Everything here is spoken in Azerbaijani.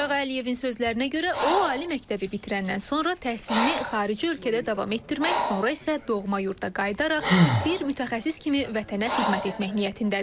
Mirağa Əliyevin sözlərinə görə, o ali məktəbi bitirəndən sonra təhsilini xarici ölkədə davam etdirmək, sonra isə doğma yurda qayıdaraq bir mütəxəssis kimi vətənə xidmət etmək niyyətindədir.